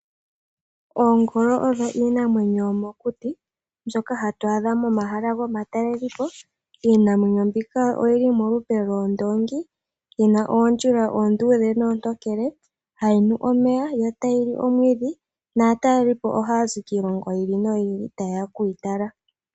Oongolo odho iinamwenyo yo mokuti mbyoka hatuyi adha momahala gomatalelepo. Iinamwenyo mbika oyili polupe loondongi, yina oodjila oondudhe noontokele, hayi nu omeya yo tayili oomwidhi, Naatalelipo ohay zi kiilongo yili no yili ta yeya okuyi tala.